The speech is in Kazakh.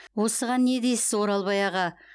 осыған не дейсіз оралбай аға